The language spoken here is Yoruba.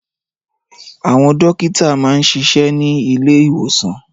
Àwọn dókítà máa ń ṣiṣẹ́ ní ilé ìwòsàn